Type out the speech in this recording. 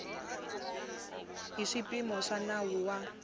hi swipimelo swa nawu wa